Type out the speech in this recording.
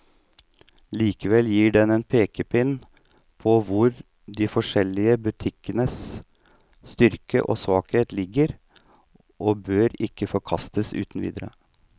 Likevel gir den en pekepinn på hvor de forskjellige butikkenes styrker og svakheter ligger, og bør ikke forkastes uten videre.